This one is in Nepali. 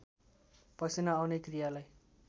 पसिना आउने क्रियालाई